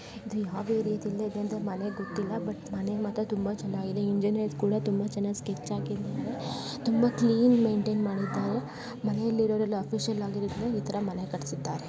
ಇದು ಯಾವ್ ಏರಿಯಾ ದಲ್ಲಿ ಇದೆ ಅಂತ ಮನೆ ಗೊತ್ತಿಲ್ಲ ಬಟ್ ಮನೆ ಮಾತ್ರ ತುಂಬಾ ಚೆನ್ನಾಗಿದೆ. ಇಂಜಿನಿಯರ್ಸ್ ಕೂಡ ತುಂಬಾ ಚೆನ್ನಾಗ್ ಸ್ಕೆಚ್ ಹಾಕಿದ್ದಾರೆ. ತುಂಬಾ ಕ್ಲೀನ್ ಮೇಂಟೈನ್ ಮಾಡಿದ್ದಾರೆ. ಮನೆಯಲ್ಲಿ ಇರೋವ್ರೆಲ್ಲ ಆಫಿಷಿಯಲ್ ಆಗಿದ್ರೆ ಈ ತರ ಮನೆ ಕಟ್ಸಿದ್ದಾರೆ.